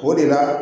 O de la